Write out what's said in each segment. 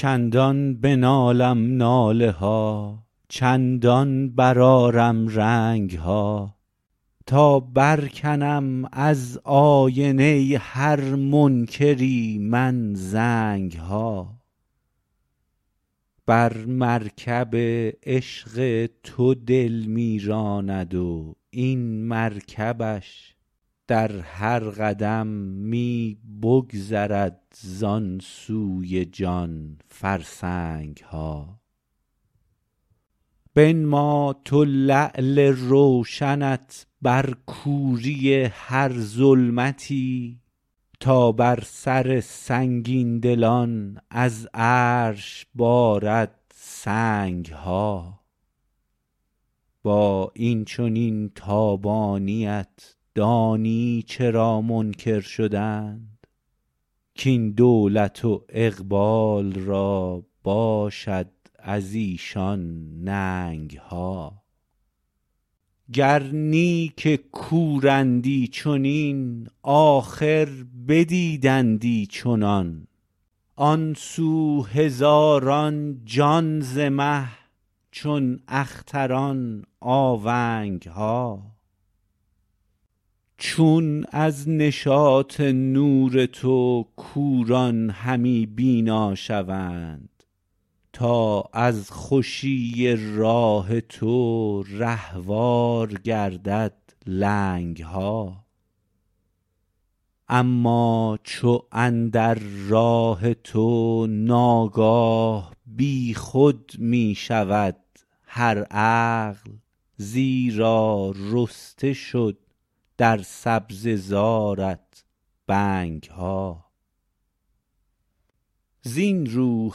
چندان بنالم ناله ها چندان برآرم رنگ ها تا برکنم از آینه هر منکری من زنگ ها بر مرکب عشق تو دل می راند و این مرکبش در هر قدم می بگذرد زان سوی جان فرسنگ ها بنما تو لعل روشنت بر کوری هر ظلمتی تا بر سر سنگین دلان از عرش بارد سنگ ها با این چنین تابانی ات دانی چرا منکر شدند کاین دولت و اقبال را باشد از ایشان ننگ ها گر نی که کورندی چنین آخر بدیدندی چنان آن سو هزاران جان ز مه چون اختران آونگ ها چون از نشاط نور تو کوران همی بینا شوند تا از خوشی راه تو رهوار گردد لنگ ها اما چو اندر راه تو ناگاه بی خود می شود هر عقل زیرا رسته شد در سبزه زارت بنگ ها زین رو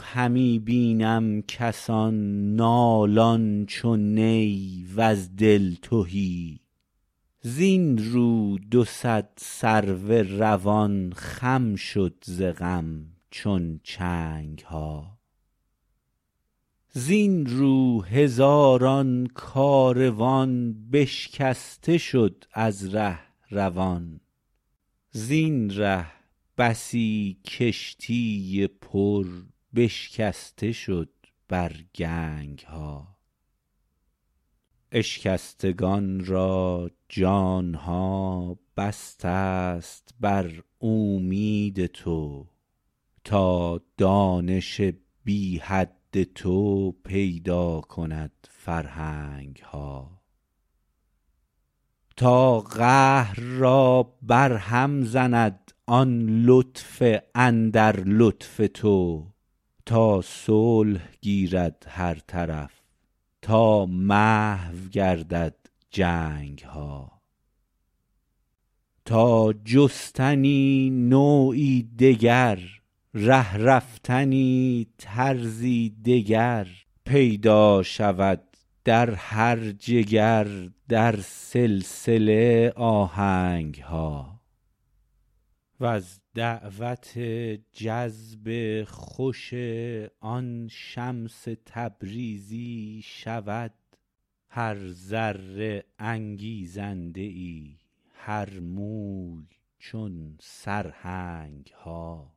همی بینم کسان نالان چو نی وز دل تهی زین رو دو صد سرو روان خم شد ز غم چون چنگ ها زین رو هزاران کاروان بشکسته شد از ره روان زین ره بسی کشتی پر بشکسته شد بر گنگ ها اشکستگان را جان ها بسته ست بر اومید تو تا دانش بی حد تو پیدا کند فرهنگ ها تا قهر را برهم زند آن لطف اندر لطف تو تا صلح گیرد هر طرف تا محو گردد جنگ ها تا جستنی نوعی دگر ره رفتنی طرزی دگر پیدا شود در هر جگر در سلسله آهنگ ها وز دعوت جذب خوشی آن شمس تبریزی شود هر ذره انگیزنده ای هر موی چون سرهنگ ها